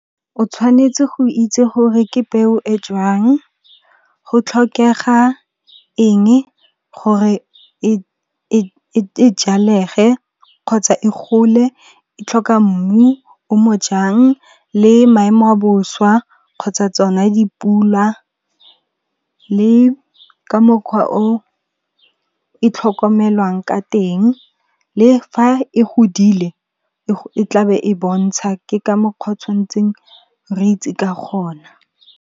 O tshwanetse go itse gore ke peo e jwang, go tlhokega enge gore e jalege kgotsa e gole, e tlhoka mmu o mo jang le maemo a boswa kgotsa tsona dipula, le ka mokgwa o e tlhokomelwang ka teng le fa e godile e tla be e bontsha ke ka mokgwa o tshwantseng re itse ka gona.